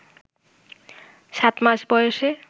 সাত মাস বয়সে